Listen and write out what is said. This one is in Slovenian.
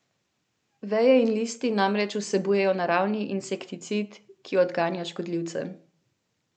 Veje in listi namreč vsebujejo naravni insekticid, ki odganja škodljivce.